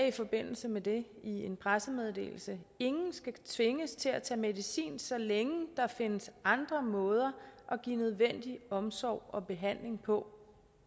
i forbindelse med det i en pressemeddelelse ingen skal tvinges til at tage medicin så længe der findes andre måder at give nødvendig omsorg og behandling på